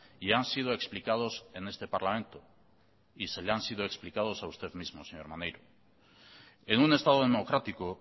y han sido explicados en este parlamento y se le han sido explicados a usted mismo señor maneiro en un estado democrático